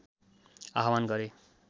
आह्वान गरे